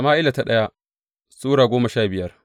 daya Sama’ila Sura goma sha biyar